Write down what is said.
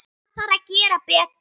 Það þarf að gera betur.